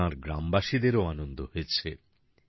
এতে তাঁর গ্রামবাসীদেরও আনন্দ হয়েছে